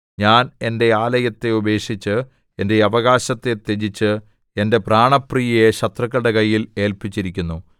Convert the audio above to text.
ഞാൻ എന്റെ ആലയത്തെ ഉപേക്ഷിച്ച് എന്റെ അവകാശത്തെ ത്യജിച്ച് എന്റെ പ്രാണപ്രിയയെ ശത്രുക്കളുടെ കയ്യിൽ ഏല്പിച്ചിരിക്കുന്നു